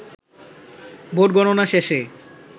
vote গণনা শেষে